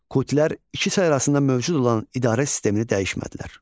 Kutilər iki çay arasında mövcud olan idarə sistemini dəyişmədilər.